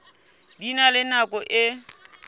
di na le nako e